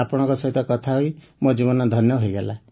ଆପଣଙ୍କ ସହିତ କଥା ହୋଇ ମୋ ଜୀବନ ଧନ୍ୟ ହୋଇଗଲା